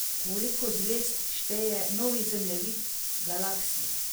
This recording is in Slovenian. Koliko zvezd šteje novi zemljevid Galaksije?